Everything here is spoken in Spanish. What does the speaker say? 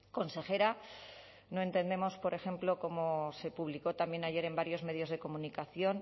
consejera no entendemos por ejemplo como se publicó también ayer en varios medios de comunicación